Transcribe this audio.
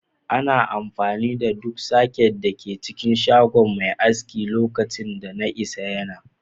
Ana amfani da duk soket da ke cikin shagon mai aski a lokacin da na isa yana.